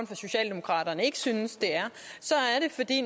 fra socialdemokraterne ikke synes det er så